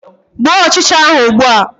Gbuo ọchịcha ahụ ugbua!